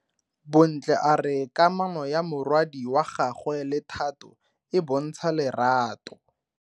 Bontle a re kamano ya morwadi wa gagwe le Thato e bontsha lerato.